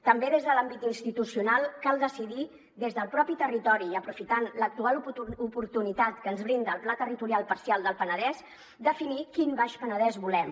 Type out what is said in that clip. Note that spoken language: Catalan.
també des de l’àmbit institucional cal decidir des del mateix territori i aprofitant l’actual oportunitat que ens brinda el pla territorial parcial del penedès definir quin baix penedès volem